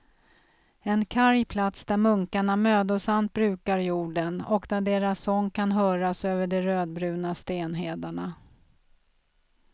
En karg plats där munkarna mödosamt brukar jorden, och där deras sång kan höras över de rödbruna stenhedarna.